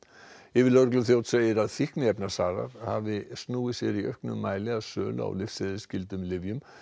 yfirlögregluþjónn segir að fíkniefnasalar hafi snúið sér í auknum mæli að sölu á lyfseðilsskyldum lyfjum